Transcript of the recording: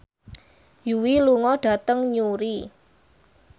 Yui lunga dhateng Newry